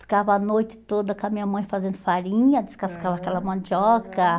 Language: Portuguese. Ficava a noite toda com a minha mãe fazendo farinha, aham, descascava aquela mandioca. Aham